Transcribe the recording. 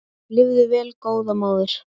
Lifðu vel góða móðir.